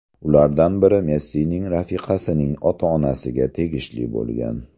Ulardan biri Messining rafiqasining ota-onasiga tegishli bo‘lgan.